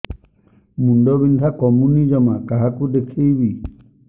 ମୁଣ୍ଡ ବିନ୍ଧା କମୁନି ଜମା କାହାକୁ ଦେଖେଇବି